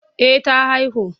Eh ta haihu.